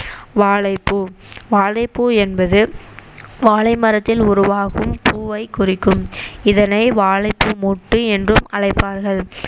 வாழைப்பூ வாழைப்பூ என்பது வாழை மரத்தில் உருவாகும் பூவை குறிக்கும் இதனை வாழைப்பூ மொட்டு என்றும் அழைப்பார்கள்